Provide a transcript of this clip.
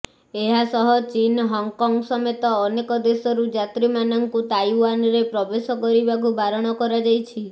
ଏହାସହ ଚୀନ୍ ହଂକଂ ସମେତ ଅନେକ ଦେଶରୁ ଯାତ୍ରୀମାନଙ୍କୁ ତାଇଓ୍ୱାନ୍ରେ ପ୍ରବେଶ କରିବାକୁ ବାରଣ କରାଯାଇଛି